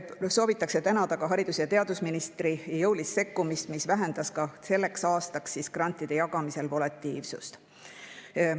Soovitakse tänada ka haridus- ja teadusministrit jõulise sekkumise eest, mis vähendas ka selleks aastaks grantide jagamisel volatiilsust.